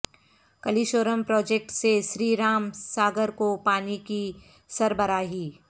Kaleshwaram project سے سری رام ساگر کو پانی کی سربراہی